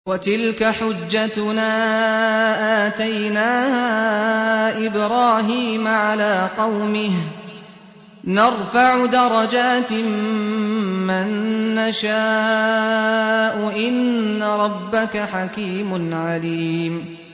وَتِلْكَ حُجَّتُنَا آتَيْنَاهَا إِبْرَاهِيمَ عَلَىٰ قَوْمِهِ ۚ نَرْفَعُ دَرَجَاتٍ مَّن نَّشَاءُ ۗ إِنَّ رَبَّكَ حَكِيمٌ عَلِيمٌ